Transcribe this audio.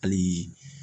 Hali